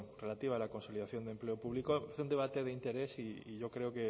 relativa a la consolidación de empleo público es un debate de interés y yo creo